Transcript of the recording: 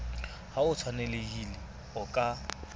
ha ho tshwanelehile o ka